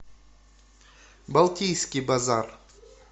балтийский базар